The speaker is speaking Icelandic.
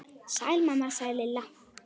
Sæl mamma sagði Lilla.